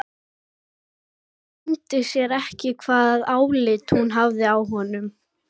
Það leyndi sér ekki hvaða álit hún hafði á honum.